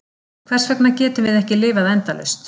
Hvers vegna getum við ekki lifað endalaust?